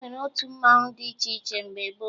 E nwere otu mmanwụ dị iche iche mgbe gboo